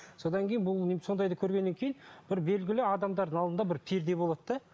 содан кейін бұл сондайды көргеннен кейін бір белгілі адамдардың алдында бір перде болады да